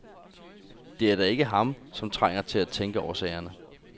Det er da ikke ham, som trænger til at tænke over sagerne.